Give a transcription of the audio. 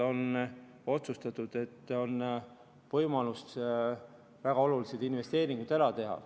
On otsustatud, et on võimalus väga olulised investeeringud ära teha.